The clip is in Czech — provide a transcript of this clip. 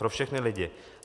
Pro všechny lidi.